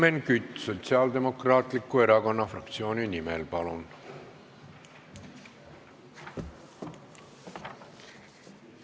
Helmen Kütt Sotsiaaldemokraatliku Erakonna fraktsiooni nimel, palun!